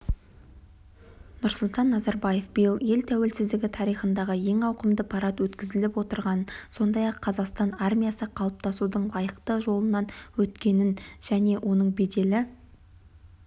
нұрсұлтан назарбаев биыл ел тәуелсіздігі тарихындағы ең ауқымды парад өткізіліп отырғанын сондай-ақ қазақстан армиясы қалыптасудың лайықты жолынан өткенін және оның беделі